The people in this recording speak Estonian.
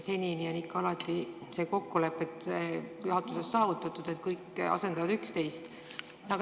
Senini on alati kokkulepe juhatuses saavutatud, et asendatakse üksteist.